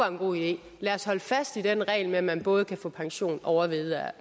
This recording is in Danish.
en god idé lad os holde fast i den regel med at man både kan få pension og